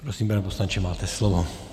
Prosím, pane poslanče, máte slovo.